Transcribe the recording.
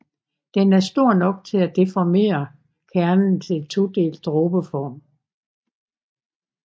Den er stor nok til at deformere kernen til en todelt dråbeform